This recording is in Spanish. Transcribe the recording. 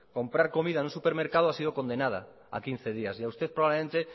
comprar comido en un supermercado ha sido condenada a quince días y a usted probablemente